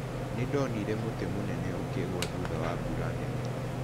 Nĩ ndonire mũtĩ mũnene ũkĩgwa thutha wa mbura nene.